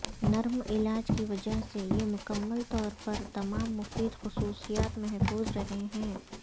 نرم علاج کی وجہ سے یہ مکمل طور پر تمام مفید خصوصیات محفوظ رہے ہیں